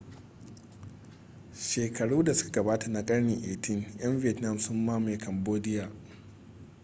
shekaru da suka gabata na karni 18 'yan vietnam sun mamaye cambodia